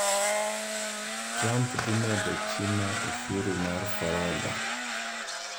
Trump dhii medo China ushuru mar forodha.